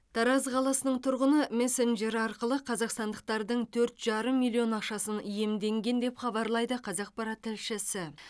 тараз қаласының тұрғыны мессенджер арқылы қазақстандықтардың төрт жарым миллион ақшасын иемденген деп хабарлайды қазақпарат тілшісі